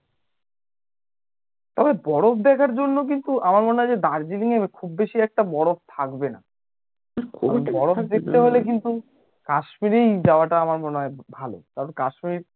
তবে বরফ দেখার জন্য কিন্তু আমার মনে হয় যে দার্জিলিঙে খুব বেশি একটা বরফ থাকবে না বরফ দেখতে হলে কিন্তু কাশ্মীরেই যাওয়াটা আমার মনে হয় ভালো কারণ কাশ্মীর